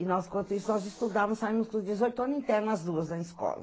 E nós, enquanto isso, nós estudávamos, saímos com os dezoito anos internos, as duas, na escola.